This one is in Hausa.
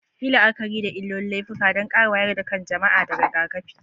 Yi la'akari da illolin laifuka don ƙara wayar da kan jama'a da rigakafi.